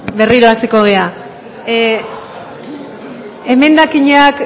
berriro hasiko gara emendakinak